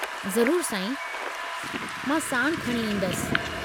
ज़रूरु साईं, मां साणु खणी ईंदसि।